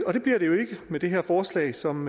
med det her forslag som